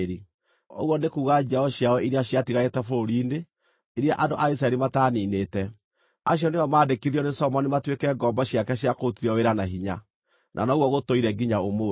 ũguo nĩ kuuga njiaro ciao iria ciatigarĩte bũrũri-inĩ, iria andũ a Isiraeli mataaniinĩte, acio nĩo maandĩkithirio nĩ Solomoni matuĩke ngombo ciake cia kũrutithio wĩra na hinya, na noguo gũtũire nginya ũmũthĩ.